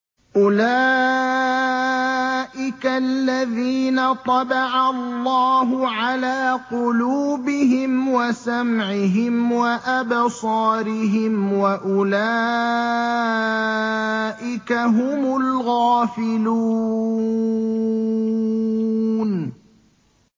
أُولَٰئِكَ الَّذِينَ طَبَعَ اللَّهُ عَلَىٰ قُلُوبِهِمْ وَسَمْعِهِمْ وَأَبْصَارِهِمْ ۖ وَأُولَٰئِكَ هُمُ الْغَافِلُونَ